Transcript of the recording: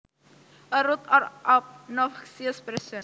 A rude or obnoxious person